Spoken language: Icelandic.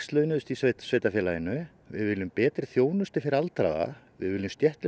launuðu í sveitarfélaginu við viljum betri þjónustu fyrir aldraða við viljum